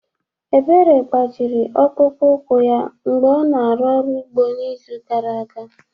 Ebere gbajiri ọkpụkpụ úkwù ya mgbe ọ na-arụ ọrụ ugbo n'izu gara aga.